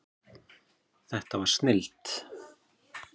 Þetta var snilld.